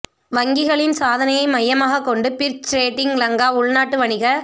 வங்கிகளின் சாதனையை மையமாகக் கொண்டு பிற்ச் ரேட்டிங் லங்கா உள்நாட்டு வணிக